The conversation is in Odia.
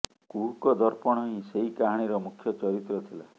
କୁହୁକ ଦର୍ପଣ ହିଁ ସେହି କାହାଣୀର ମୁଖ୍ୟ ଚରିତ୍ର ଥିଲା